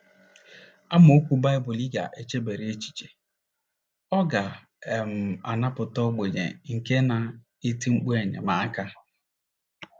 AMAOKWU BAỊBỤL Ị GA - ECHEBARA ECHICHE: “ Ọ ga um - anapụta ogbenye nke na - eti mkpu enyemaka...